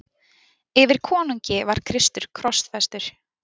Yfir konungi var Kristur krossfestur.